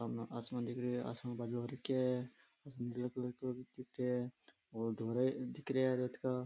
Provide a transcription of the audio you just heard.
सामने आसमान दिख रहे है आसमान में बादल हो रखे है बादल धोले कलर को हो रखे है ओर धोरा दिखरा है रेत का।